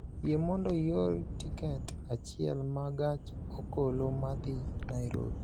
Yie mondo ior tiket achiel ma gach okoloma dhi Nairobi